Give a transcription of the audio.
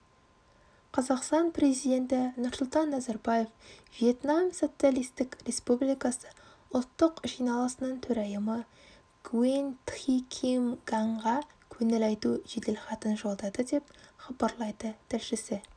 қазақстан президенті нұрсұлтан назарбаев вьетнам социалистік республикасы ұлттық жиналысының төрайымы нгуен тхи ким нганға көңіл айту жеделхатын жолдады деп хабарлайды тілшісі